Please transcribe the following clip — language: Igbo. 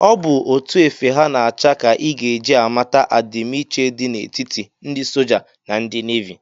Ọ bụ etu efe ha na-acha ka ị ga eji amata adimiiche dị na etiti ndị soja na ndị navi